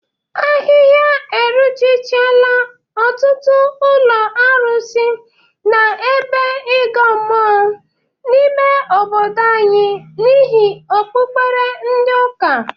Ahịha eruchichala ọtụtụ ụlọ arụsị na ebe ịgụ mmụọ n'ime obodo anyị n'ihi okpukpere ndị ụka.